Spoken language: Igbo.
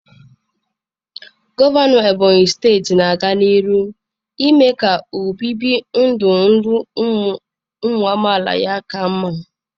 Gọvanọ ebonyị steeti na-aga n'ihu ime ka obibi ndụ ndụ ụmụ amaala ya ka mma.